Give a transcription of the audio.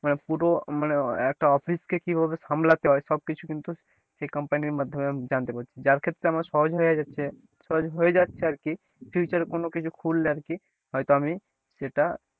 মানে পুরো মানে একটা office কে কীভাবে সামলাতে হয় সবকিছু কিন্তু সেই company র মাধ্যমে জানতে পারি যার ক্ষেত্রে আমার সহজ হয়ে যাচ্ছে সহজ হয়ে যাচ্ছে আর কি future এ কোন কিছু খুললে আর কি হয়তো আমি সেটা,